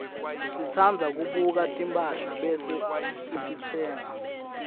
sitsandza kubuka timphahla bese sititsenga